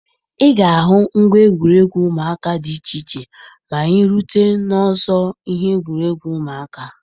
Ị ga-ahụ ngwa egwuregwu ụmụaka dị iche iche ma anyị rute n'ọzọ ihe egwuregwu ụmụaka.